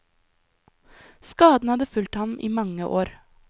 Skaden hadde fulgt ham i mange år.